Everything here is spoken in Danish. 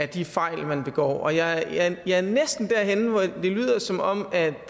de fejl man begår og jeg jeg er næsten derhenne hvor det lyder som om at